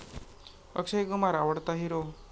अक्षय कुमार आवडता हिरो